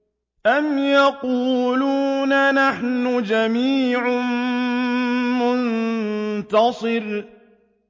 أَمْ يَقُولُونَ نَحْنُ جَمِيعٌ مُّنتَصِرٌ